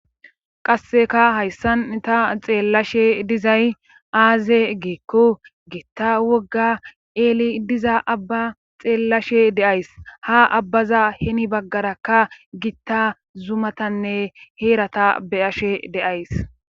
qasseka hayssan ta xeellashe dizay aaze giikko gitta wogga eeli diza abba xeellashe deays ha abbaza heni baggaraka gitta zumatanne heerata beyashe deays